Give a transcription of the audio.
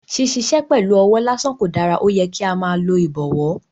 Ṣiṣiṣẹ pẹlu ọwọ lasan ko dara, oyẹ ki a máa lo ibọwọ